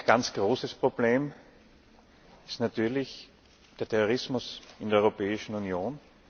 Ein ganz großes Problem ist natürlich der Terrorismus in der Europäischen Union.